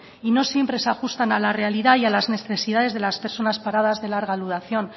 y no siempre se ajustan a la realidad y a las necesidades de las personas paradas de larga duración